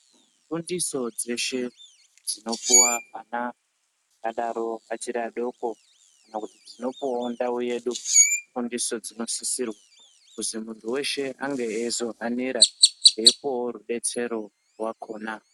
Fundiso dzeshe dzinopuwa ana akadaro achiri adoko kana kuti dzinopuwawo ndau yedu ifundiso dzinosisirwa kuzi munhu weshe ange eizohanira eipuwawo rudetsero rwakona.